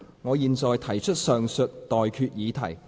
我現在向各位提出上述待決議題。